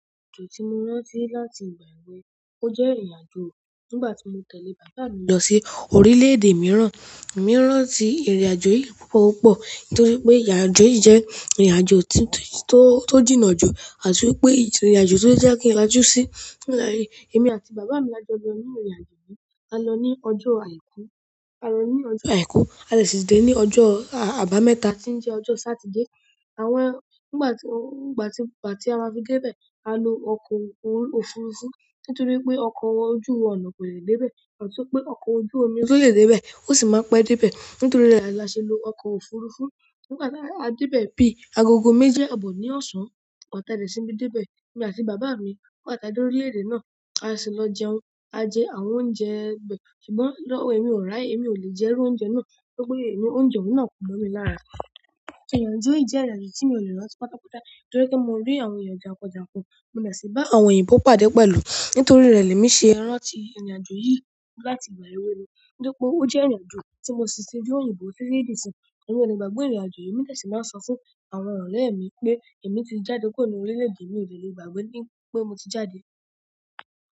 Ìrìnàjò tí mo rántí láti ìgbà èwe náà, ó jẹ́ ìrìnàjò nígbàtí mo tẹ̀lé bàbá mi lọ sí orílẹ̀-èdè mìíràn. Mò rántí ìrìnàjò yìí púpọ̀púpọ̀ nítorí pé ìrìnàjò yìí jẹ́ ìrìnàjò tó, tó jìnà jù, àti wípé ìrìnàjò tó jẹ́ kí n lajú sí. Nígbà tí èmi àti bàbá mi la jọ lọ ní ìrìnàjò yìí, a lọ ní ọjọ́ àìkú, a lọ ní ọjọ́ àìkú, a dẹ sì dé ní ọjọ́ àbámẹ́ta tí ń jẹ́ ọjọ́ Satide. Àwọn ẹ́, nígbàtí, nígbàtí, nígbàtí a fi dé bẹ, a lo ọkọ̀ òfurufú nítorí pé ọkọ̀ ojú-ọ̀nà kò lè dé bẹ, àti pé ọkọ̀ ojú-omi kò lè dé bẹ, ó sì máa pẹ́ dé bẹ. Nítorí rẹ̀ la ṣe lo ọkọ̀ òfurufú. Nígbàtí a dé bẹ bí i, agogo méje àbọ̀ ní ọ̀sán, àtàdà sí bí i dé bẹ, èmi àti bàbá mi wà tàbí orílẹ̀-èdè náà, a sì lọ jẹun. A jẹ àwọn oúnjẹ bẹ, ṣùgbọ́n lọ́wọ́ mi ò rà é, èmi ò lè jẹ irú oúnjẹ náà nítorí pé èmi oúnjẹ òún náà kò mọ̀ ni lára. Ìrìnàjò yìí jẹ́ ìrìnàjò tí mi ò lè rántí pátápátá nítorí pé mo rí àwọn èèyàn jànkójànkó, mo dẹ̀ sì bá àwọn oyinbo pàdé pẹ̀lú. Nítorí rẹ̀ lèmi ṣe rántí ìrìnàjò yìí láti ìgbà èwe mi nítorí pé ó jẹ́ ìrìnàjò tí mo ṣí ti ri oyinbo títi di sín. Nígbàgbọ̀ ìrìnàjò yìí, mí dẹ̀ sí máa sọ fún àwọn ọ̀rẹ́ mi pé èmi ti jáde kúrò ní orílẹ̀-èdè mi, èmi ò lè gbàgbé wípé mo ti jáde.